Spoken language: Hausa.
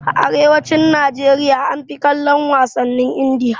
A arewacin Najeriya an fi kallon wasannin Indiya